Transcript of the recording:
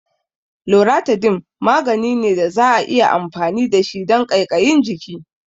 Loratidine magani ne da za'a iya amfani da shi don ƙaiƙayin jiki